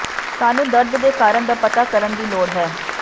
ਸਾਨੂੰ ਦਰਦ ਦੇ ਕਾਰਨ ਦਾ ਪਤਾ ਕਰਨ ਦੀ ਲੋੜ ਹੈ